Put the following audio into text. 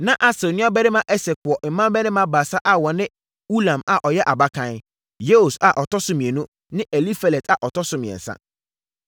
Na Asel nuabarima Esek wɔ mmammarima baasa a wɔne Ulam a ɔyɛ abakan, Yeus a ɔtɔ so mmienu ne Elifelet a ɔtɔ so mmiɛnsa.